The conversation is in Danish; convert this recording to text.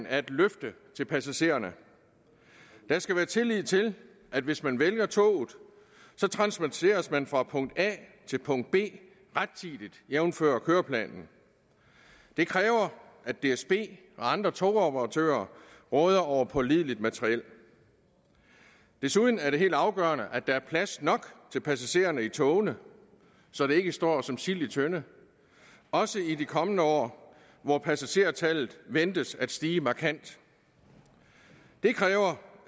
er et løfte til passagererne der skal være tillid til at hvis man vælger toget transporteres man fra punkt a til punkt b rettidigt jævnfør køreplanen det kræver at dsb og andre togoperatører råder over pålideligt materiel desuden er det helt afgørende at der er plads nok til passagererne i togene så de ikke står som sild i en tønde også i de kommende år hvor passagertallet ventes at stige markant det kræver